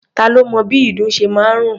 Ta lo mọ bí ìdun ṣe máa ń rùn?